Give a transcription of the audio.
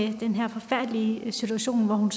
i den her forfærdelige situation hvor hun